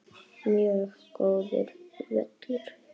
Mjög góður völlur.